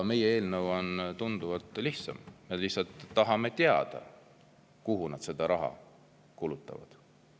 Meie eelnõu on tunduvalt lihtsam, me lihtsalt tahame teada, kuhu nad seda raha kulutavad.